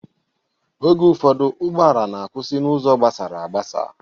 Oge ụfọdụ ụgbọala na-akwụsị n'ụzọ gabsara agbasa.